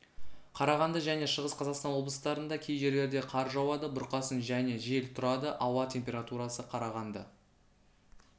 қарағанды және шығыс қазақстан облыстарында кей жерлерде қар жауады бұрқасын және жел тұрады ауа температурасы қарағанды